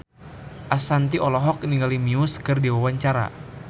Ashanti olohok ningali Muse keur diwawancara